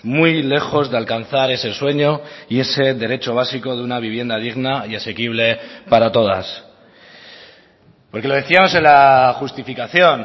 muy lejos de alcanzar ese sueño y ese derecho básico de una vivienda digna y asequible para todas porque lo decíamos en la justificación